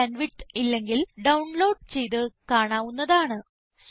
നല്ല bandwidth ഇല്ലെങ്കിൽ download ചെയ്ത് കാണാവുന്നതാണ്